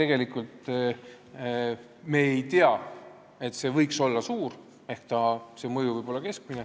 Nii et meile ei ole teada, et see mõju võiks olla suur, see võib olla keskmine.